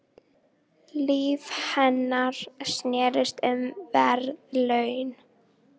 Líf hennar snerist um verðlaun.